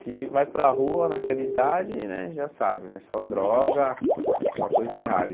Se vai para rua naquela idade né, já sabe, só droga, só coisa errada.